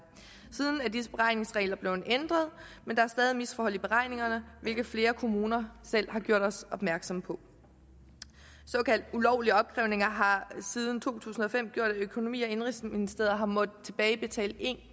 siden er disse beregningsregler blevet ændret men der er stadig et misforhold i beregningerne hvilket flere kommuner selv har gjort os opmærksom på såkaldt ulovlige opkrævninger har siden to tusind og fem gjort at økonomi og indenrigsministeriet har måttet tilbagebetale en